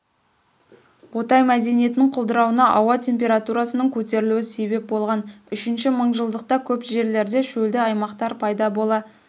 ботай мәдениетінің құлдырауына ауа температурасының көтерілуі себеп болған үшінші мыңжылдықта көп жерлерде шөлді аймақтар пайда бола